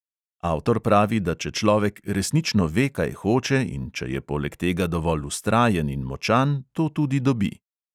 Avtor pravi, da če človek resnično ve, kaj hoče, in če je poleg tega dovolj vztrajen in močan, to tudi dobi.